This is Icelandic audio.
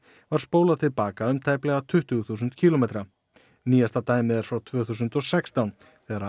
var spólað til baka um tæplega tuttugu þúsund kílómetra nýjasta dæmið er frá tvö þúsund og sextán þegar